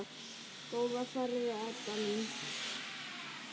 Góða ferð, Edda mín.